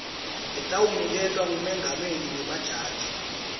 letawuniketwa ngumengameli wemajaji